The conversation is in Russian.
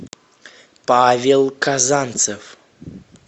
павел казанцев